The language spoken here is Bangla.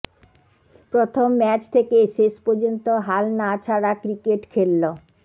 প্রথম ম্যাচ থেকে শেষ পর্যন্ত হাল না ছাড়া ক্রিকেট খেলল